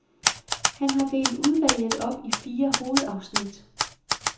Han har delt udvalget op i fire hovedafsnit.